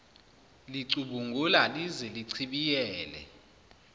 licubungula lize lichibiyele